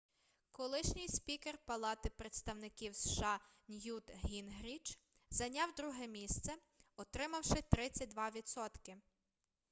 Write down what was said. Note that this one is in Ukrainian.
колишній спікер палати представників сша ньют гінгріч зайняв друге місце отримавши 32 відсотки